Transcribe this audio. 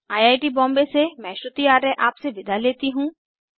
I I T Bombay से मैं श्रुति आर्य आपसे विदा लेती हूँ